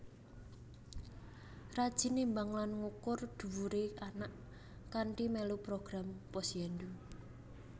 Rajin nimbang lan ngukur dhuwure anak kanthi melu program Posyandu